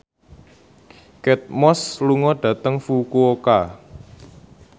Kate Moss lunga dhateng Fukuoka